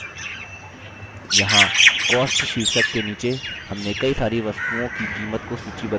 यहाँ cost शीर्षक के नीचे हमने कई सारी वस्तुओं की कीमत को सूचीबद्ध किया है